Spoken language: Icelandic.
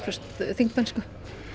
þingmennsku